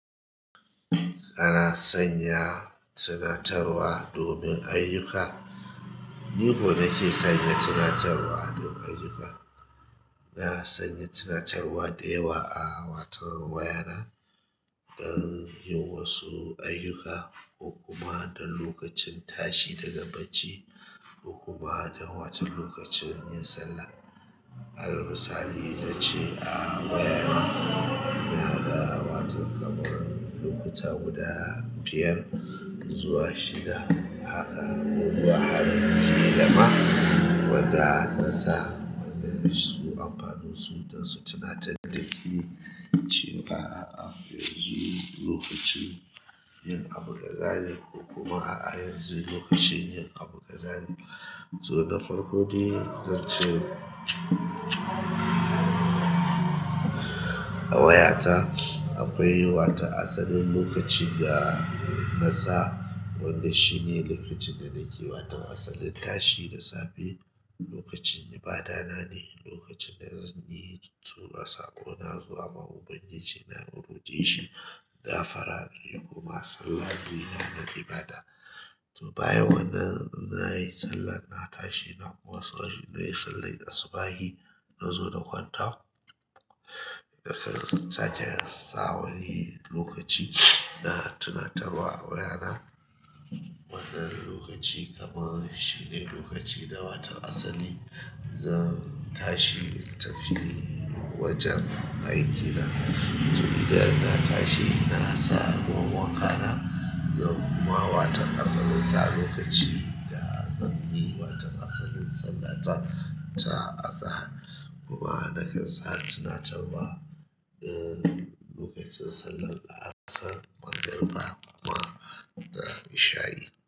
Ana sanya tunatarwa domin ayyuka. Ni ko nake sanya tunatarwa don ayyuka. Na sanya tunatarwa da yawa a wato wayana don yin wasu ayyuka, ko kuma don lokacin tashi daga bacci, ko kuma don wata lokacin yin sallah. Allalmusali zan ce a wayana. Ina ganin wato kamar lokuta guda biyar zuwa shida, haka kuwa har shida ma wanda na sa wanda su amfanunsu don su tunatar da ni cewa a yanzu lokacin yin abin gaza ne, ko kuma a'a yanzu lokacin yin abin gaza ne. To na farko dai zan ce a wayata akwai wata asalin lokaci da nasa wanda shi ne lokacin da nake yi wata asalin tashi da safe, lokacin ibada na ne, lokacin da zan yi tura saƙona zuwa ma'ubangiji na in rokeshi gafara inyi kuma sallar domin ibada. To bayan wannan in na yi sallah na tashi na kuma saurari nayi sallar asubahin na zo na kwanta. Nakan sake sa wani lokaci na tunatarwa a wayana wannan lokaci kamar shi ne lokaci da watan asali zan tashi in tafi wajen aikin na. To idan na tashi na samu ruwan wankana, zan kuma yi wata asalin sa lokaci da zan yi wata asalin sallata ta azahar. Kuma nakan sa tunatarwa don lokacin sallan la'asar, mangariba kuma da isha'i.